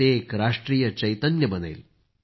ते एक राष्ट्रीय चैतन्य बनेल